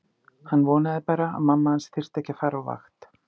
Hann vonaði bara að mamma hans þyrfti ekki að fara á vakt.